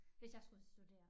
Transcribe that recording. Hvis jeg skulle studere